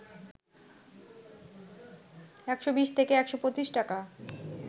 ১২০ থেকে ১২৫ টাকা